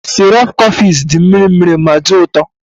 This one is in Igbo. sirop coffex dị mịrị mịrị ma dị ụtọ